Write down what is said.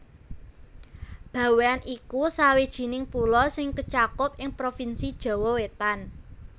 Bawean iku sawijining pulo sing kacakup ing provinsi Jawa Wétan